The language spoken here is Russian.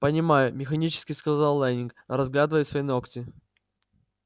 понимаю механически сказал лэннинг разглядывая свои ногти